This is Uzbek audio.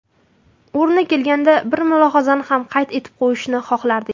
O‘rni kelganda bir mulohazani ham qayd etib o‘tishni xohlardik.